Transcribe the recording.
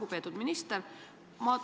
Lugupeetud minister!